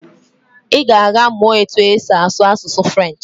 I ga-aga mụọ otu esi asụ asụsụ French.